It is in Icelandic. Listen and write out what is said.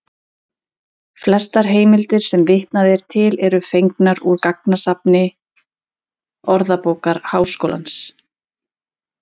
Flestar heimildir sem vitnað er til eru fengnar úr gagnasafni Orðabókar Háskólans.